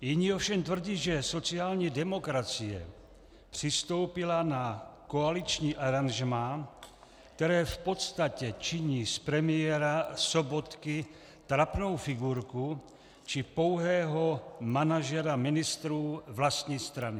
Jiní ovšem tvrdí, že sociální demokracie přistoupila na koaliční aranžmá, které v podstatě činí z premiéra Sobotky trapnou figurku či pouhého manažera ministrů vlastní strany.